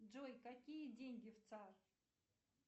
джой какие деньги в цар